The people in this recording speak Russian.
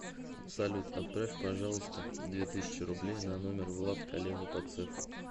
салют отправь пожалуйста две тысячи рублей на номер влад коллега по цеху